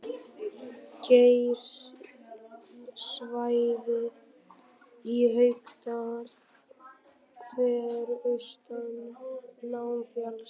Geysissvæðið í Haukadal, Hverir austan Námafjalls